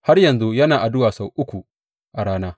Har yanzu yana addu’a sau uku a rana.